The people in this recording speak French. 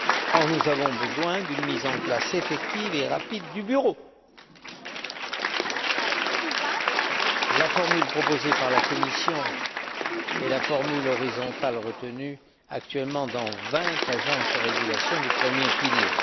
Or, nous avons besoin d'une mise en place effective et rapide du bureau. La formule proposée par la Commission est la formule horizontale retenue actuellement pour vingt agences de régulation du premier pilier.